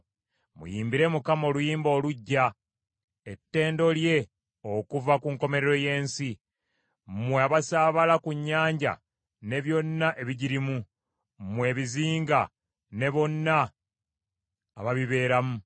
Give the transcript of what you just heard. Muyimbire Mukama oluyimba oluggya, ettendo lye okuva ku nkomerero y’ensi! Mmwe abasaabala ku nnyanja ne byonna ebigirimu, mmwe ebizinga ne bonna ababibeeramu.